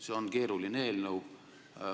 See on keeruline eelnõu.